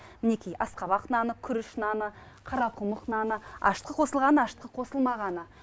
мінекей асқабақ наны күріш наны қарақұмық наны ашытқы қосылған ашытқы қосылмағаны